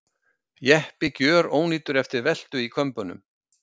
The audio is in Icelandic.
Jeppi gjörónýtur eftir veltu í Kömbunum